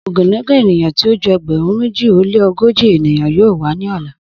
Ogunlọgọ eniyan ti o ju ẹgbẹrun meji o le ogoji eniyan yoo wa ni ọla